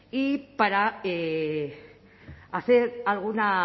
y para hacer alguna